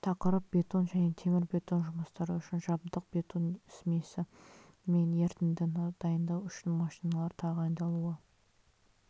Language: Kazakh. тақырып бетон және темірбетон жұмыстары үшін жабдық бетон смесі мен ерітіндіні дайындау үшін машиналар тағайындалуы